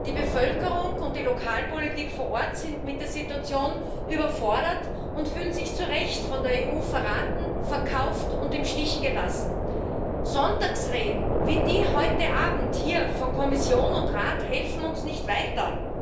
Die Bevölkerung und die Lokalpolitik vor Ort sind mit der Situation überfordert und fühlen sich zu Recht von der EU verraten, verkauft und im Stich gelassen. Sonntagsreden wie die heute Abend hier von Kommission und Rat helfen uns nicht weiter.